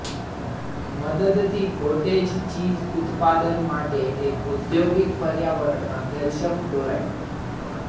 મદદથી cottage cheese ઉત્પાદન માટે એક ઔદ્યોગિક પર્યાવરણમાં કેલ્શિયમ ક્લોરાઇડ